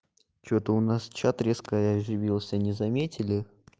что-то у нас чат резко оживился не заметили